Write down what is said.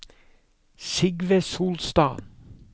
Sigve Solstad